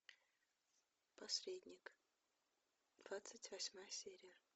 посредник двадцать восьмая серия